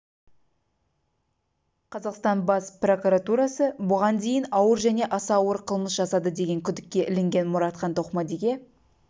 қазақстан бас прокуратурасы бұған дейін ауыр және аса ауыр қылмыс жасады деген күдікке ілінген мұратхан тоқмадиге